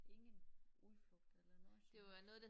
Ingen udflugt eller noget som helst